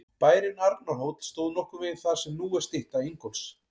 Bærinn Arnarhóll stóð nokkurn veginn þar sem nú er stytta Ingólfs.